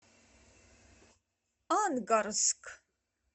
ангарск